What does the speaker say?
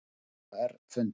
Stjórn OR fundar